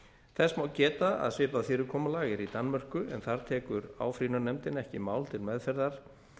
þess má geta að svipað fyrirkomulag er í danmörku en þar tekur áfrýjunarnefndin ekki mál til meðferðar